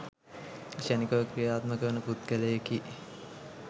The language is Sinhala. ක්ෂනිකව ක්‍රියාත්මක වන පුද්ගලයෙකි.